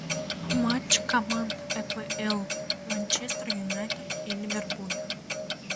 матч команд апл манчестер юнайтед и ливерпуль